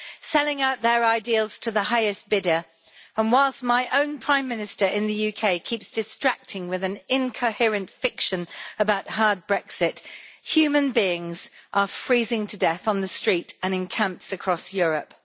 selling out their ideals to the highest bidder, and whilst my own Prime Minister in the UK keeps distracting with an incoherent fiction about hard Brexit, human beings are freezing to death on the street and in camps across Europe.